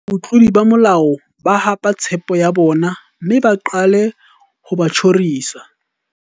Ebe batlodi ba molao ba hapa tshepo ya bona mme ba qale ho ba tjhorisa.